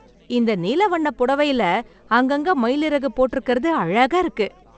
இந்த நீல வண்ண புடவைல அங்கங்க மயிலறகு போட்ருக்கறது அழகா இருக்கு.